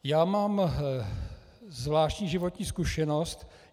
Já mám zvláštní životní zkušenost.